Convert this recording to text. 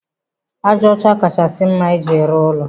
Aja ọcha kachasị mma iji rụọ ụlọ.